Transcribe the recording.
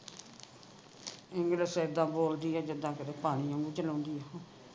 english ਇੱਦਾਂ ਬੋਲਦੀ ਆ ਜਿੱਦਾਂ ਕੀਤੇ ਚਲਾਉਂਦੀ ਹੋਵੇ